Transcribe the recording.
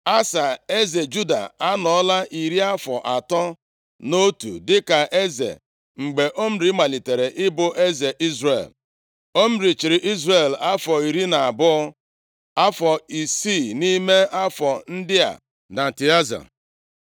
Asa, eze Juda anọọla iri afọ atọ na otu dịka eze mgbe Omri malitere ịbụ eze Izrel. Omri chịrị Izrel afọ iri na abụọ, afọ isii nʼime afọ ndị a na Tịaza.